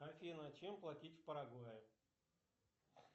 афина чем платить в парагвае